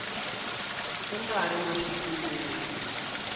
ku nga ri na swipimelo